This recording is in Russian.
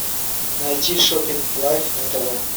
найти шоппинг лайф на тв